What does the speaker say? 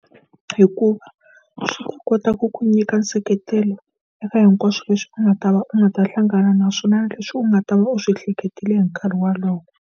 Hikuva swi ta kota ku ku nyika nseketelo eka hinkwaswo leswi u nga ta va u nga ta hlangana na swona leswi u nga ta va u swi hleketile hi nkarhi wolowo.